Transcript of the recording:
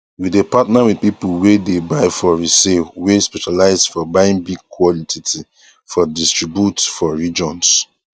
we dey partner with people wey dey buy for resale wey specialize for buying big quantity for distribute for regions